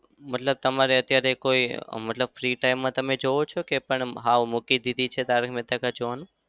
મતલબ તમારે અત્યારે કોઈ અમ મતલબ free time માં જોવો છો કે એ પણ સાવ મૂકી દીધી છે તારક મહેતા કા જોવાનું?